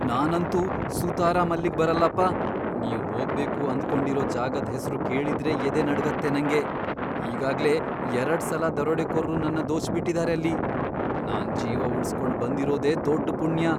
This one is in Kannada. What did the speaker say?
ನಾನಂತೂ ಸುತರಾಂ ಅಲ್ಲಿಗ್ ಬರಲ್ಲಪ್ಪ, ನೀವ್ ಹೋಗ್ಬೇಕು ಅಂದ್ಕೊಂಡಿರೋ ಜಾಗದ್ ಹೆಸ್ರು ಕೇಳಿದ್ರೇ ಎದೆ ನಡ್ಗತ್ತೆ ನಂಗೆ, ಈಗಾಗ್ಲೇ ಎರಡ್ಸಲ ದರೋಡೆಕೋರ್ರು ನನ್ನ ದೋಚ್ಬಿಟಿದಾರೆ ಅಲ್ಲಿ. ನಾನ್ ಜೀವ ಉಳ್ಸ್ಕೊಂಡ್ ಬಂದಿರೋದೇ ದೊಡ್ಡ್ ಪುಣ್ಯ.